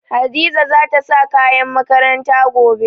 Hadiza za ta sa kayan makaranta gobe.